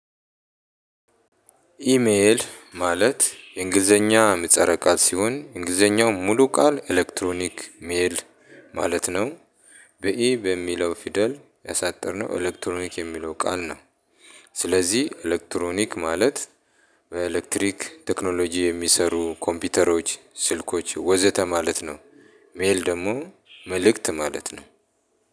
ኢሜል ማለት የእንግሊዘኛ ምጸረ ቃል ሲሆን እንግሊዘኛው ሙሉ ቃል ኤሌክትሮኒክ ሜል ማለት ነው። በኢ በሚለው ፊደል ያሳጠርነው ኤሌክትሮኒክ የሚለው ቃል ነው። ስለዚህ ኤሌክትሮኒክ ማለት በኤሌክትሪክ ቴክኖሎጂ የሚሰሩ ኮምፒውተሮች ስልኮች ወዘተ ማለት ነው። ሜል ደግሞ መልእክት ማለት ነው።